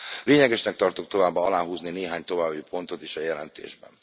Lényegesnek tartok továbbá aláhúzni néhány további pontot is a jelentésben.